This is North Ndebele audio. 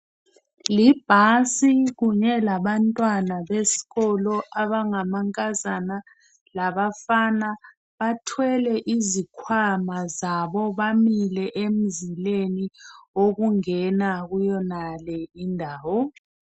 Libhasi kunye labantwana besikolo abangamankazana labafana bathwele izikhwama zabo, bamile emzileni wokungena kuyonale indawo.